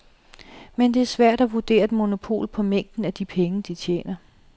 Men det er svært at vurdere et monopol på mængden af de penge, de tjener.